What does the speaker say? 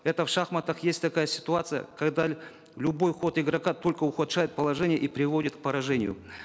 это в шахматах есть такая ситуация когда любой ход игрока только ухудшает положение и приводит к поражению